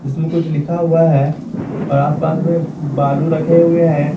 इसमें कुछ लिखा हुआ है और आसपास में बालू रखे हुए हैं।